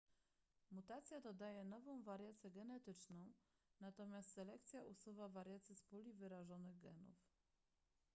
mutacja dodaje nową wariację genetyczną natomiast selekcja usuwa wariację z puli wyrażonych genów